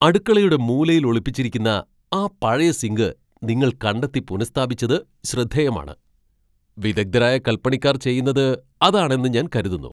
അടുക്കളയുടെ മൂലയിൽ ഒളിപ്പിച്ചിരിക്കുന്ന ആ പഴയ സിങ്ക് നിങ്ങൾ കണ്ടെത്തി പുനഃസ്ഥാപിച്ചത് ശ്രദ്ധേയമാണ്. വിദഗ്ധരായ കൽപ്പണിക്കാർ ചെയ്യുന്നത് അതാണ് എന്ന് ഞാൻ കരുതുന്നു.